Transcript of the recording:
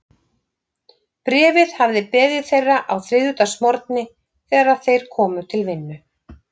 Bréfið hafði beðið þeirra á þriðjudagsmorgni, þegar þeir komu til vinnu.